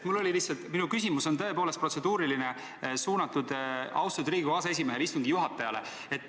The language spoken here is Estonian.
Ma väga vabandan, minu küsimus on tõepoolest protseduuriline, suunatud austatud Riigikogu aseesimehele, istungi juhatajale.